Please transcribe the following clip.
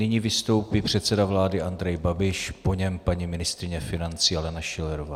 Nyní vystoupí předseda vlády Andrej Babiš, po něm paní ministryně financí Alena Schillerová.